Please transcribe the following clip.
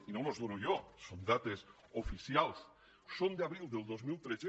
i no les dono jo són dades oficials són d’abril del dos mil tretze